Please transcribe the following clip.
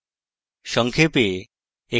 সংক্ষেপে